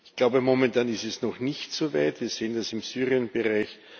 Ich glaube, momentan ist es noch nicht so weit wir sehen das im Syrien Bereich.